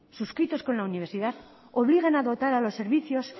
suscritos con la universidad obligan a dotar a los servicios